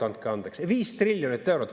Andke andeks, 5 triljonit eurot!